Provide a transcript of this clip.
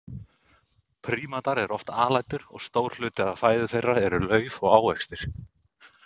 Prímatar eru oft alætur og stór hluti af fæðu þeirra er lauf og ávextir.